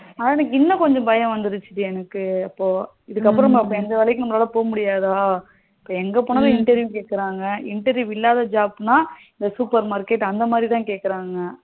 ஹம் எனக்கு இன்னும் கொஞ்சம் பயம் வந்துடுச்சி டி எனக்கு இப்போ இதுக்கு அப்புறம் எந்த வேலைக்கும் நம்மலால போக முடியாதா இப்போ எங்க போனாலும் interview கேக்ககுறங்க interview இல்லாத job னா supermarket அந்த மாதிரி தான் கேக்ககுறங்கா